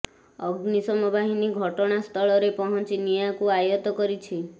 ଅଗ୍ନିଶମ ବାହିନୀ ଘଟଣା ସ୍ଥ୍ଳରେ ପହଂଚି ନିଆଁକୁ ଆୟତ କରିଛି